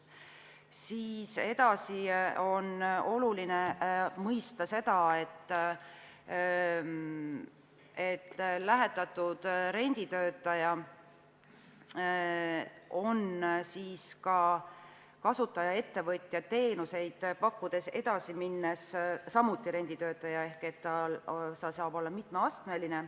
On oluline mõista, et lähetatud renditöötaja on kasutajaettevõtja teenuseid pakkudes edasi minnes samuti renditöötaja ehk see saab olla mitmeastmeline.